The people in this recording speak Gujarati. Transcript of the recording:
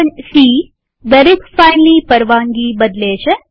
c160 દરેક ફાઈલની પરવાનગી બદલે છે